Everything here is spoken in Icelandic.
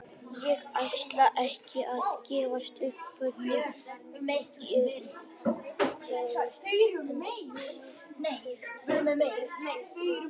Ég ætla ekki að gefa upp hvern ég kaus en nýi forsetinn lítur vel út.